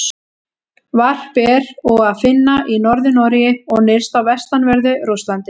Varp er og að finna í Norður-Noregi og nyrst á vestanverðu Rússlandi.